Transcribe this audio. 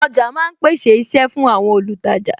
Ọjà ma ń pèsè iṣẹ́ fún àwọn olùtajà